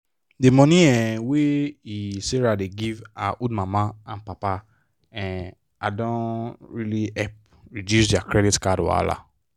the money um wey um sarah dey give her old mama and papa um don really help reduce their credit card wahala.